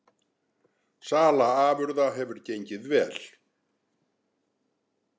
Sala afurða hefur gengið vel